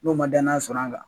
N'o ma danya sɔrɔ a la